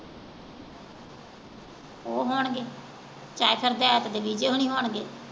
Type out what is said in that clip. ਉਹ ਹੋਣਗੇ